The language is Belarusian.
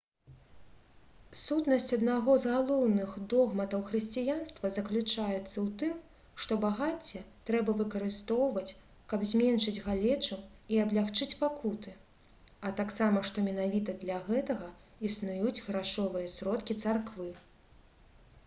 сутнасць аднаго з галоўных догматаў хрысціянства заключаецца ў тым што багацце трэба выкарыстоўваць каб зменшыць галечу і аблягчыць пакуты а таксама што менавіта для гэтага існуюць грашовыя сродкі царквы